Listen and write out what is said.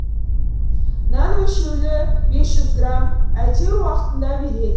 нан өлшеулі бес жүз грамм әйтеуір уақытында береді